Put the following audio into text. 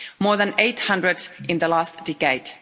more than 800 in the last decade.